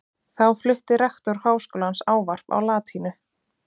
Þá flutti rektor Háskólans ávarp á latínu.